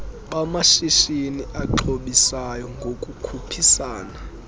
bamashishini axhobisayo ngokukhuphisana